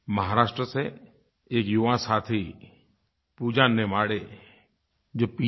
महाराष्ट्र से एक युवा साथी पूजा नेमाड़े जो pजी